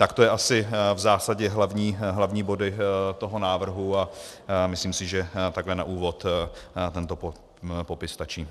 Tak to jsou asi v zásadě hlavní body toho návrhu a myslím si, že takhle na úvod tento popis stačí.